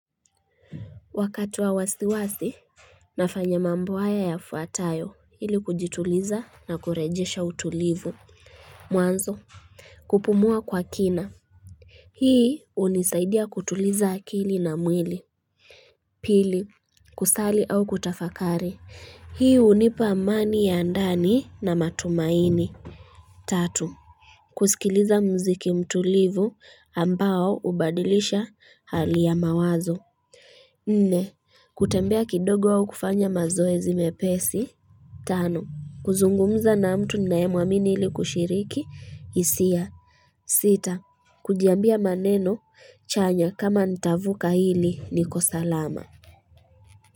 Wakati wa wasiwasi nafanya mambo haya yafuatayo ili kujituliza na kurejesha utulivu Mwanzo kupumua kwa kina Hii hunisaidia kutuliza akili na mwili Pili kusali au kutafakari Hii hunipa amani ya ndani na matumaini Tatu kusikiliza mziki mtulivu ambao hubadilisha hali ya mawazo nne kutembea kidogo au kufanya mazoezi mepesi tano kuzungumza na mtu ninaye mwamini ili kushiriki hisia sita Kujiambia maneno chanya kama nitavuka hili niko salama.